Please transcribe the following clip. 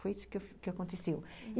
Foi isso que aconteceu.